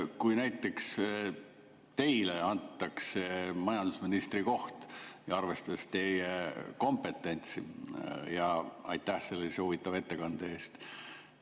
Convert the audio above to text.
Kui näiteks teile antaks majandusministri koht, arvestades teie kompetentsi – aitäh ka sellise huvitava ettekande eest!